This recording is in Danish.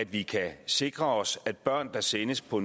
vi kan sikre os at børn der sendes på